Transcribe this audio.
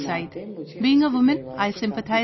Being a woman, I feel an empathy with her family